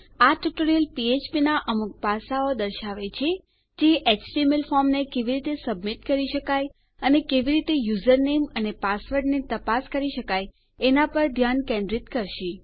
આ ટ્યુટોરીયલ ફ્ફ્પ નાં અમુક પાસાંઓ દર્શાવે છે જે એચટીએમએલ ફોર્મને કેવી રીતે સબમિટ કરી શકાય અને કેવી રીતે યુઝર નેમ અને પાસવર્ડને તપાસી શકાય એના પર ધ્યાન કેન્દ્રિત કરશે